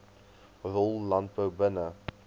rol landbou binne